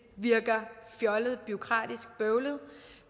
virker fjollet bureaukratisk og bøvlet